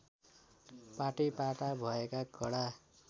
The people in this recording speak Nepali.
पाटैपाटा भएका कडा